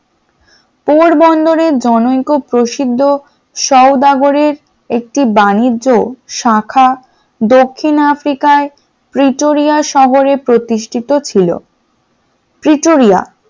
পোর বন্দরে জনৈক্য প্রসিদ্ধ সওদাগরী একটি বাণিজ্যর শাখা দক্ষিণ আফ্রিকায় পর্টোরিয়া শহরে প্রতিষ্ঠিত ছিল। পর্টোরিয়া